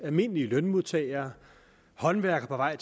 almindelige lønmodtagere håndværkere